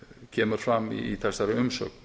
kemur fram í þessari umsögn